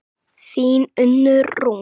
Þín Unnur Rún.